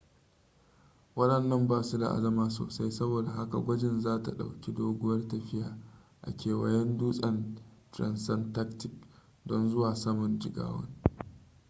wadannan ba su da azama sosai saboda haka gwajin za ta dauki doguwar tafiya a kewayen dutsen transantarctic don zuwa saman jigawan